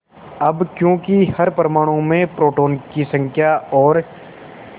अब क्योंकि हर परमाणु में प्रोटोनों की संख्या और